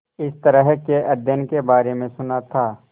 इस तरह के अध्ययन के बारे में सुना था